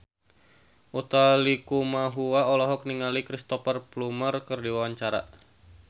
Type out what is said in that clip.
Utha Likumahua olohok ningali Cristhoper Plumer keur diwawancara